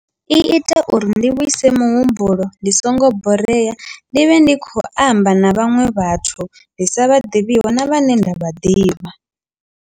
I ita uri ndi vhuise muhumbulo ndi songo borea ndi vhe ndi khou amba na vhaṅwe vhathu ndi sa vha ḓivhiho na vhane nda vha ḓivha.